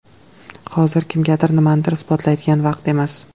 Hozir kimgadir nimanidir isbotlaydigan vaqt emas.